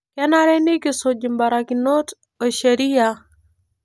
Kenare nikisuj imbarakinot o sheria